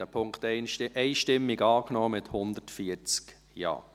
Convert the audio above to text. Sie haben diesen Punkt einstimmig angenommen, mit 140 Ja-Stimmen.